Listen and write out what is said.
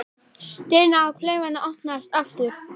Dyrnar á klefanum opnast aftur.